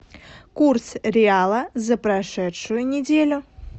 курс реала за прошедшую неделю